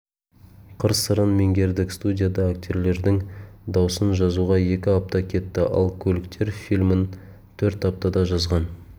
қыр-сырын меңгердік студияда актерлердің дауысын жазуға екі апта кетті ал көліктер фильмін төрт аптада жазған